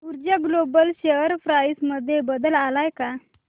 ऊर्जा global share price मध्ये बदल आलाय का